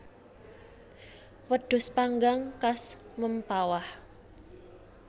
Wedhus panggang khas Mempawah